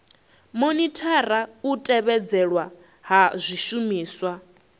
monithara u tevhedzelwa ha zwishumiswa